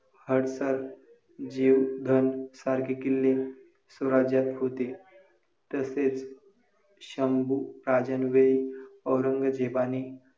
महिलांनो आजच्या आधुनिक युगात तुम्ही स्वतः पासून बदल करा .कारण पुढची पिढी कशी घडवायची हे तुमच्याच हातात आहे.